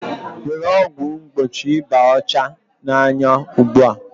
Were ọgwụ mgbochi ịba ọcha n'anya ugbu a